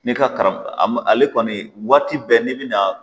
N'i ka kara ale kɔni waati bɛɛ n'i bɛna